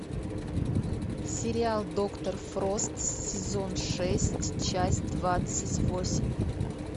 сериал доктор фрост сезон шесть часть двадцать восемь